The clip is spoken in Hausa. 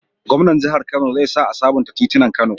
Gwamnan jahar kano zai sa a sabunta titinan kano